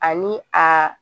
Ani a